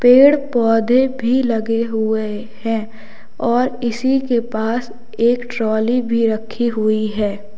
पेड़ पौधे भी लगे हुए हैं और इसी के पास एक ट्राली भी रखी हुई है।